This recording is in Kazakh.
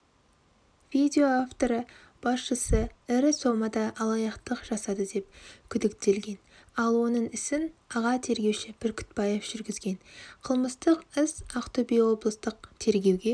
видео авторы басшысы ірі сомада алаяқтық жасады деп күдіктелген ал оның ісін аға тергеуші бүркітбаев жүргізген қылмыстық іс ақтөбе облыстық тергеуге